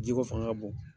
Ji ko fanga ka bon